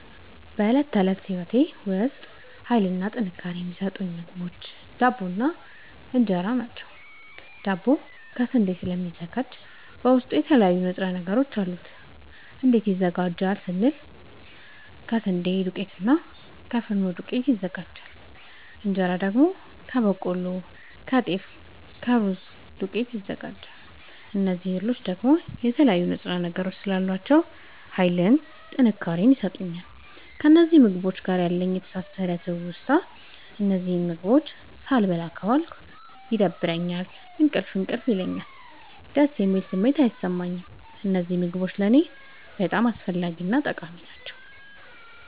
በእለት ተለት ህይወቴ ዉስጥ ሀይልንና ጥንካሬን የሚሠጡኝ ምግቦች ዳቦ እና እን ራ ናቸዉ። ዳቦ ከስንዴ ስለሚዘጋጂ በዉስጡ የተለያዩ ንጥረ ነገሮች አሉት። እንዴት ይዘጋጃል ስንል ደግሞ ከስንዴ ዱቄትና እና ከፊኖ ዱቄት ይዘጋጃል። እንጀራ ደግሞ ከበቆሎ ከጤፍ ከሩዝ ዱቄት ይዘጋጃል። እዚህ እህሎይ ደግሞ የተለያዩ ንጥረ ነገሮች ስላሏቸዉ ሀይልንና ጥንካሬን ይሠጡኛል። ከእነዚህ ምግቦች ጋር ያለኝ የተሣሠረ ትዉስታ እነዚህን ምግቦች ሣልበላ ከዋልኩ ይደብረኛል እንቅልፍ እንቅልፍ ይለኛል። ደስ የሚል ስሜት አይሠማኝም። እነዚህ ምግቦች ለኔ በጣም አስፈላጊናጠቃሚ ናቸዉ።